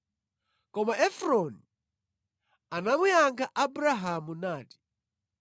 Koma Efroni anamuyankha Abrahamu nati,